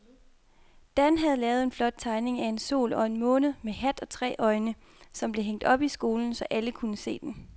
Dan havde lavet en flot tegning af en sol og en måne med hat og tre øjne, som blev hængt op i skolen, så alle kunne se den.